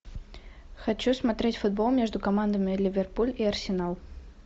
хочу смотреть футбол между командами ливерпуль и арсенал